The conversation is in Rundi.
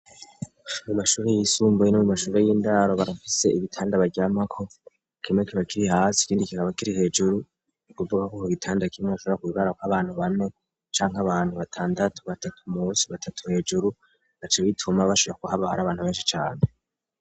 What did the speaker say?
mu mashuri yisumbuye no mu mashuri y'indaro barafise ibitanda baryamako kimwe kiba kiri hasi ikindi kikaba kiri hejuru ni ukuvuga ko ku gitanda kimwe harashobora kuryamako abantu bane canke abantu batandatu batatu munsi batatu hejuru bigaca bituma bashira kuha bahari abantu benshi cyane